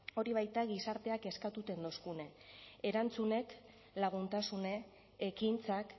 hori baita gizarteak eskatuten doskune erantzunek laguntasune ekintzak